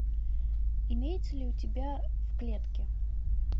имеется ли у тебя в клетке